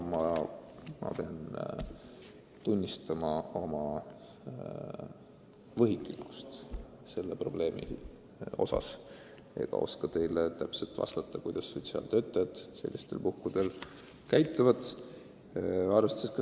Ma pean tunnistama oma võhiklikkust selles osas, ma ei oska teile täpselt vastata, kuidas sotsiaaltöötajad sellistel puhkudel käituvad.